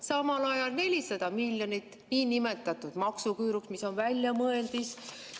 Samal ajal 400 miljonit niinimetatud maksuküüru, mis on väljamõeldis.